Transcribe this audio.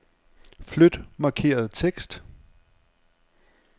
Flyt markerede tekst.